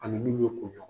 Ani min bɛ ko